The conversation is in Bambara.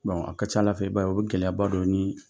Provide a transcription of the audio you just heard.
a ka ca Ala fɛ, i b'a ye, o be gɛlɛya ba don ni